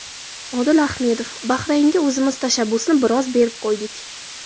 Odil Ahmedov: Bahraynga o‘zimiz tashabbusni biroz berib qo‘ydik.